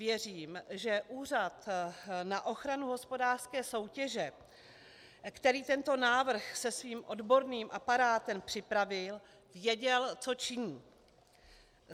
Věřím, že Úřad na ochranu hospodářské soutěže, který tento návrh se svým odborným aparátem připravil, věděl, co činí.